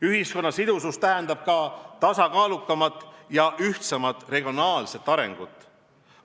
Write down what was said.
Ühiskonna sidusus tähendab ka tasakaalukamat ja ühtsemat regionaalset arengut.